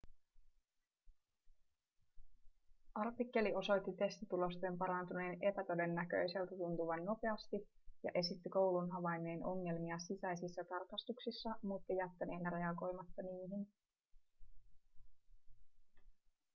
artikkeli osoitti testitulosten parantuneen epätodennäköiseltä tuntuvan nopeasti ja esitti koulun havainneen ongelmia sisäisissä tarkastuksissa mutta jättäneen reagoimatta niihin